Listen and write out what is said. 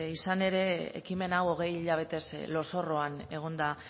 izan ere ekimen hau hogei hilabetez lozorroan egon da